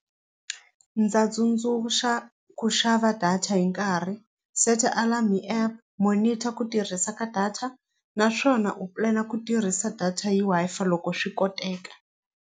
Ndza tsundzuxa ku xava data hi nkarhi seta alarm app monitor ku tirhisa ka data naswona u pulana ku tirhisa data hi Wi-Fi loko swi koteka.